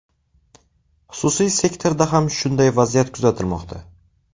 Xususiy sektorda ham shunday vaziyat kuzatilmoqda.